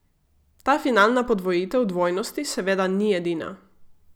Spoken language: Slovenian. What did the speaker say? Ta finalna podvojitev dvojnosti seveda ni edina.